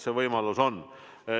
See võimalus on.